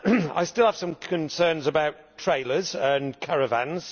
I still have some concerns about trailers and caravans.